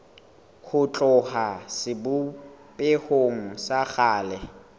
ho tloha sebopehong sa kgale